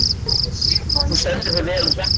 Þú stendur þig vel, Hrefna!